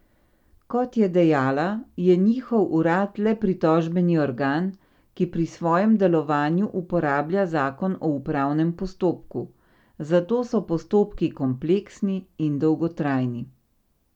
Kot je dejala, je njihov urad le pritožbeni organ, ki pri svojem delovanju uporablja zakon o upravnem postopku, zato so postopki kompleksni in dolgotrajni.